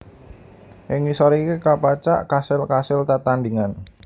Ing ngisor iki kapacak kasil kasil tetandhingan